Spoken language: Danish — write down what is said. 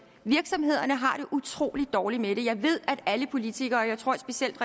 virksomhederne har det utrolig dårligt med det jeg ved at alle politikere og jeg tror specielt